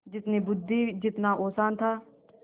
जितनी बुद्वि जितना औसान था